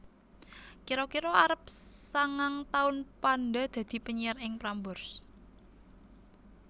Kira kira arep sangang taun Panda dadi penyiar ing Prambors